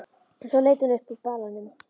Svo leit hún upp úr balanum.